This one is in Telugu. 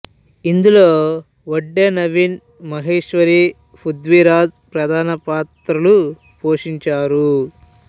ఇందులో వడ్డే నవీన్ మహేశ్వరి పృథ్వీ రాజ్ ప్రధాన పాత్రలు పోషించారు